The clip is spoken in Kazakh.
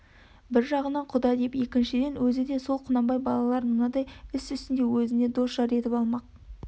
бір жағы құда деп екіншіден өзі де сол құнанбай балаларын мынадай іс үстінде озіне дос-жар етіп алмақ